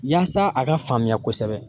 Yaasa a ka faamuya kosɛbɛ.